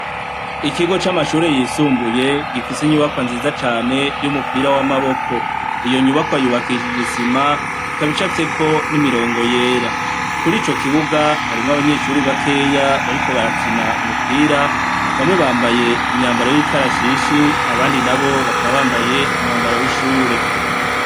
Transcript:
Ikigo c'amashure yisumbuye gifise inyubakwa nziza cane y'umupira w'amaboko. Iyo nyubakwa yubakishije isima, ikaba icafyeko n'imirongo yera. Kuri ico kibuga, harimwo abanyeshure bakeya bariko barakina umupira bamwe bambaye imyambaro y'ikarashishi abandi nabo bakaba bambaye umwambaro w'ishure.